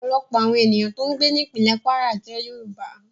Ọ̀pọ̀lọpọ̀ àwọn ènìyàn tó ń gbé ní ìpínlè Kwara jẹ́ Yorùbá